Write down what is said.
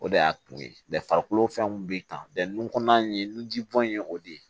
O de y'a to ye farikolo fɛnw bɛ ta nun kɔnɔna in ye nunji bɔn ye o de ye